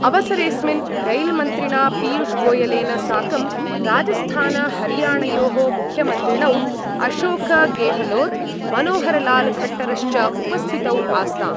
अवसरेस्मिन् रैल्मन्त्रिणा पीयूषगोयलेन साकं राजस्थानहरियाणयोः मुख्यमन्त्रिणौ अशोकगेहलोत मनोहरलालखट्टरश्च उपस्थितौ आस्ताम्।